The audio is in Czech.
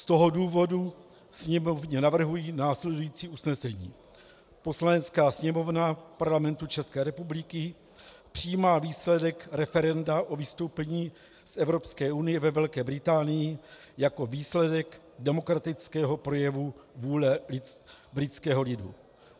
Z tohoto důvodu Sněmovně navrhuji následující usnesení: Poslanecká sněmovna Parlamentu České republiky přijímá výsledek referenda o vystoupení z Evropské unie ve Velké Británii jako výsledek demokratického projevu vůle britského lidu.